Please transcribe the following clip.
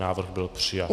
Návrh byl přijat.